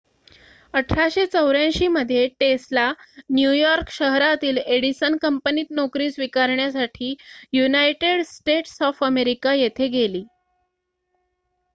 1884 मध्ये Tesla New York शहरातील Edison कंपनीत नोकरी स्वीकारण्यासाठी युनायटेड स्टेट्स ऑफ अमेरिका येथे गेली